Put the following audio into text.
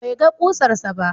Bai ga ƙusarsa ba.